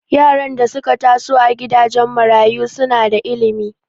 Yaran da suka taso a gidajen marayu suna da ilimi